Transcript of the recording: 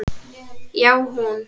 Já, hún!